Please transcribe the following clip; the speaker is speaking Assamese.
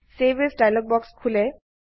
চেভ এএছ ডায়লগ বাক্স খোলে